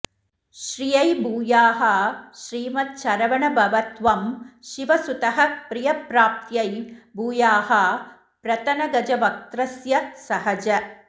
श्रियै भूयाः श्रीमच्छरवणभव त्वं शिवसुतः प्रियप्राप्त्यै भूयाः प्रतनगजवक्त्रस्य सहज